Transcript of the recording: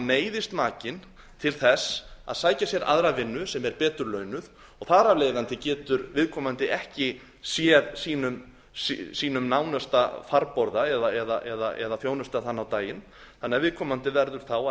neyðist makinn til þess að sækja sér aðra vinnu sem er betur launuð og þar af leiðandi getur viðkomandi ekki séð sínum nánasta farborða eða þjónustað hann á daginn þannig að viðkomandi verður þá að